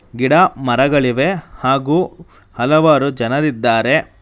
ಗಿಡ ಮರಗಳಿವೆ ಹಾಗೂ ಹಲವಾರು ಜನರಿದ್ದಾರೆ.